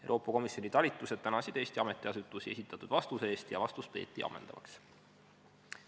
Euroopa Komisjoni talitused tänasid Eesti ametiasutusi esitatud vastuse eest ja vastust peeti ammendavaks.